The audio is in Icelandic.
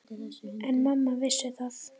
En mamma vissi það.